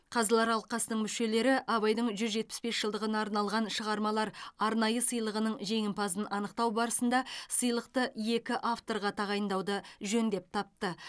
қазылар алқасының мүшелері абайдың жүз жетпіс бес жылдығына арналған шығармалар арнайы сыйлығының жеңімпазын анықтау барысында сыйлықты екі авторға тағайындауды жөн деп тапты